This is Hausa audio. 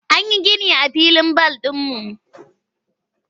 An yi gini a filin bal ɗinmu.